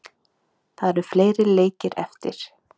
Það eru fleiri leikir eftir